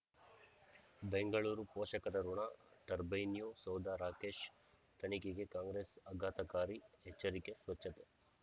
ಬೆಂಗಳೂರು ಪೋಷಕರಋಣ ಟರ್ಬೈನ್ಯೂ ಸೌಧ ರಾಕೇಶ್ ತನಿಖೆಗೆ ಕಾಂಗ್ರೆಸ್ ಆಘಾತಕಾರಿ ಎಚ್ಚರಿಕೆ ಸ್ವಚ್ಛತೆ